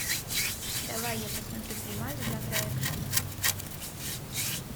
давай я посмотрю фильмас жанра экшн